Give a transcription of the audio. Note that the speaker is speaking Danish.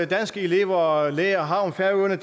danske elever og lærere har om færøerne